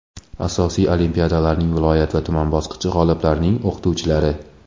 asosiy olimpiadalarning viloyat va tuman bosqichi g‘oliblarining o‘qituvchilari;.